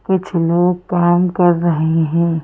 कुछ लोग काम कर रहे हैं।